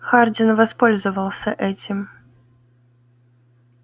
хардин воспользовался этим